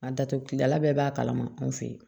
A datugulikɛla bɛɛ b'a kalama anw fe yen